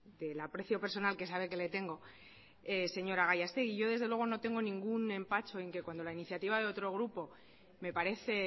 del aprecio personal que sabe que le tengo señora gallastegui yo desde luego no tengo ningún empacho en que cuando la iniciativa de otro grupo me parece